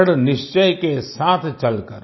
दृढ़ निश्चय के साथ चलकर